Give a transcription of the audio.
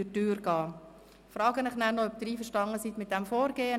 Ich frage Sie nachher noch, ob Sie mit diesem Vorgehen einverstanden sind.